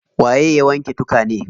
Waye ya wanke tukane?